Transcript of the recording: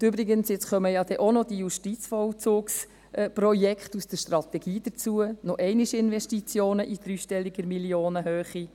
Und übrigens kommen jetzt auch noch die Justizvollzugsprojekte aus der Strategie hinzu, das sind noch einmal Investitionen in dreistelliger Millionenhöhe.